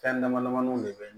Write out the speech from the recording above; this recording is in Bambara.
Fɛn dama damani de be